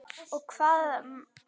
Og hvaða menn sendi ég?